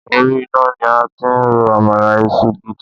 Orí iná ni a ti ń ro àmàlà ìṣù gidi